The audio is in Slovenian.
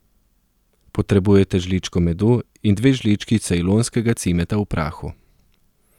Potrebujete žličko medu in dve žlički cejlonskega cimeta v prahu.